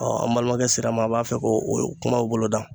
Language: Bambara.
an balimakɛ sera ma an b'a fɛ k'o o kumaw bolodan